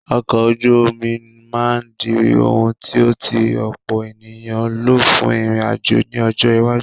Ọkọ̀ ojú omi máa di ohùn tí tí ọ̀pọ̀ ènìyàn ń lò fún ìrìn àjò ní ọjọ́ iwájú.